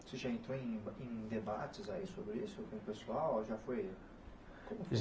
Isso já entrou em em debates aí sobre isso com o pessoal ou já foi?